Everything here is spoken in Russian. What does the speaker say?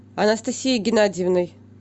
анастасией геннадиевной